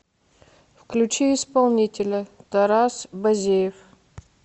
включи исполнителя тарас базеев